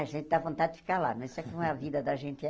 A gente dá vontade de ficar lá, mas sabe como a vida da gente é.